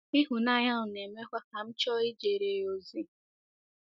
Ịhụnanya ahụ na-emekwa ka m chọọ ijere ya ozi.